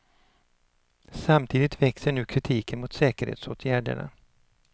Samtidigt växer nu kritiken mot säkerhetsåtgärderna.